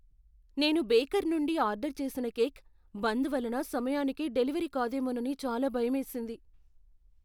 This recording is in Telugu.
నేను బేకర్ నుండి ఆర్డర్ చేసిన కేక్, బంద్ వలన సమయానికి డెలివరీ కాదేమోనని చాలా భయమేసింది.